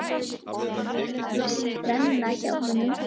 Flott þrenna hjá honum.